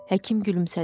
Həkim gülümsədi.